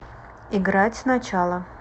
играть сначала